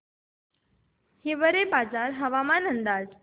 हिवरेबाजार हवामान अंदाज